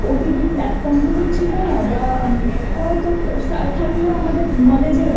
OTT Platform গুলোও ছিল না বা থাকলেও হয়তো আমাদের knowledge এর